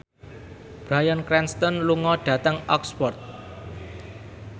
Bryan Cranston lunga dhateng Oxford